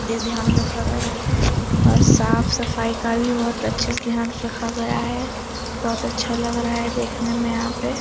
ध ध्यान रखा गया है और साफ सफाई का भी बहुत अच्छे से ध्यान रखा गया है बहुत अच्छा लग रहा है देखने में यहाँ पे।